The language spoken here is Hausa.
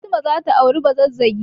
Fatima za ta auri Bazazzagi.